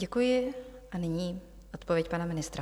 Děkuji a nyní odpověď pana ministra.